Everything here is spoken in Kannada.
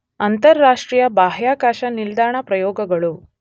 ಅಂತರರಾಷ್ಟ್ರೀಯ ಬಾಹ್ಯಾಕಾಶ ನಿಲ್ದಾಣ ಪ್ರಯೋಗಗಳು